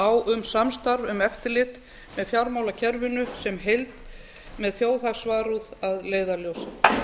á um samstarf um eftirlit með fjármálakerfinu sem heild með þjóðhagsvarúð að leiðarljósi